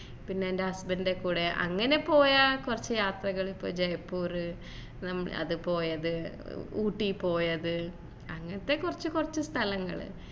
പിന്നെ എന്റെ husband ൻ്റെ കൂടെ അങ്ങനെ പോയ കുറച്ച് യാത്രകൾ ഇപ്പൊ ജയ്‌പൂർ പിന്നെ അത് പോയത് ഊട്ടി പോയത് അങ്ങനത്തെ കുറച്ച് കുറച്ച് സ്ഥലങ്ങൾ